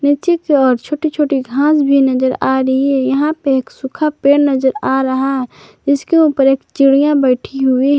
ठीक है और छोटी छोटी घास भी नजर आ रही है यहां पे एक सूखा पेड़ नजर आ रहा है इसके ऊपर एक चिड़िया बैठी हुई है।